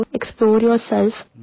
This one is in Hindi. explore yourself